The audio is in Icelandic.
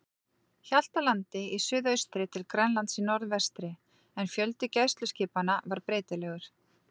Hjaltlandi í suðaustri til Grænlands í norðvestri, en fjöldi gæsluskipanna var breytilegur.